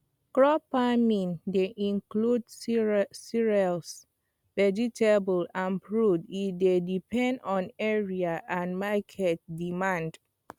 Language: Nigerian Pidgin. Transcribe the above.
crop farming dey include cereals vegetables and fruits e dey depend on area and market demand